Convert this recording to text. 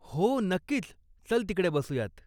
हो, नक्कीच, चल तिकडे बसूयात.